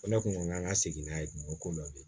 Ko ne kun ko n k'an ka segin n'a ye kungo ko dɔ bɛ yen